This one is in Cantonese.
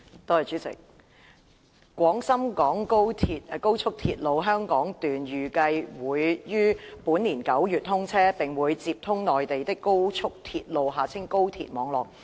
代理主席，廣深港高速鐵路香港段預計會於本年9月通車，並會接通內地的高速鐵路網絡。